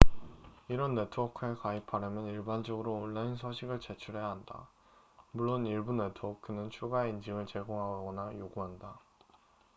이런 네트워크에 가입하려면 일반적으로 온라인 서식을 제출해야 한다 물론 일부 네트워크는 추가의 인증을 제공하거나 요구한다